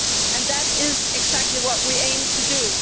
and that is exactly what we aim to do.